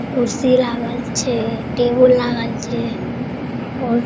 कुर्सी लागल छे टेबुल लागल छे और --